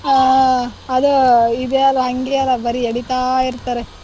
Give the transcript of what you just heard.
ಹ ಅದ್ ಇದೆಲ್ಲ ಹಂಗೆ ಅಲ ಬರಿ ಎಳೀತಾ ಇರ್ತಾರೆ.